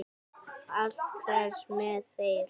Allt hverfur með þér.